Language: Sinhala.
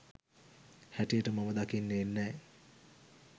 හැටියට මම දකින්නේ නෑ.